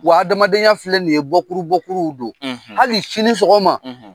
Wa adamadenya filɛ nin ye bɔkuru bɔkuruw don. Hali sini sɔgɔma,